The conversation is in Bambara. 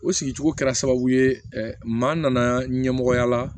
O sigicogo kɛra sababu ye maa nana ɲɛmɔgɔya la